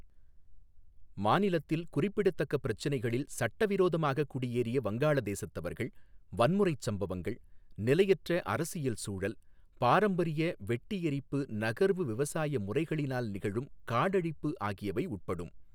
மாநிலத்தில் குறிப்பிடத்தக்க பிரச்சினைகளில் சட்டவிரோதமாகக் குடியேறிய வங்காள தேசத்தவர்கள், வன்முறைச் சம்பவங்கள், நிலையற்ற அரசியல் சூழல், பாரம்பரிய வெட்டி எரிப்பு நகர்வு விவசாய முறைகளினால் நிகழும் காடழிப்பு ஆகியவை உட்படும்.